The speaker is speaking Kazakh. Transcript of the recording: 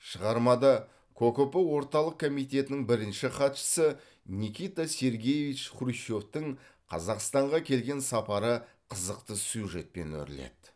шығармада кокп орталық камитетінің бірінші хатшысы никита сергеевич хрущевтің қазақстанға келген сапары қызықты сюжетпен өріледі